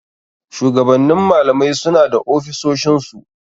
Shugabannin malamai suna da ofisoshin su.